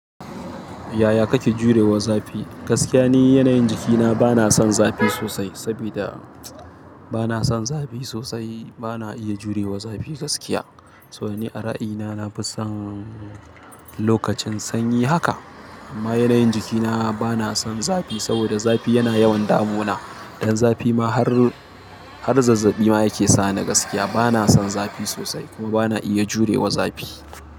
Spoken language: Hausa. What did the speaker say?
Yaya kake jurewa zafi? Gaskiya ne, yanayin jikina bana son zafi sosai. Saboda bana son zafi sosai, bana iya jurewa zafi gaskiya. To ni a ra'ayina na fi son lokacin sanyi haka. Amma yanayin jikina bana son zafi saboda zafi yana yawan damuna. Ɗan zafi ma har zazzaɓi ma yake sa ni gaskiya bana son zafi sosai kuma bana iya jurewa zafi.